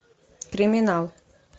криминал